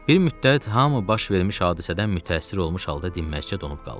Bir müddət hamı baş vermiş hadisədən mütəəssir olmuş halda dinməzicə donub qaldı.